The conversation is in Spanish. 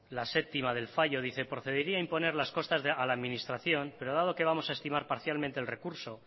la séptima del fallo dice procedería a imponer las costas a la administración pero dado que vamos a estimar parcialmente el recurso